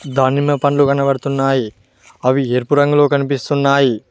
దానిమ్మ పండ్లు కనబడుతున్నాయి అవి ఎరుపు రంగులో కనిపిస్తున్నాయి.